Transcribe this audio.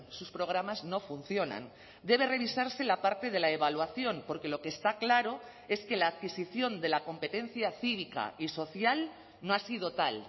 sus programas no funcionan debe revisarse la parte de la evaluación porque lo que está claro es que la adquisición de la competencia cívica y social no ha sido tal